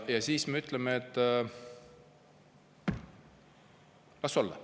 Ja ikkagi me ütleme, et las olla.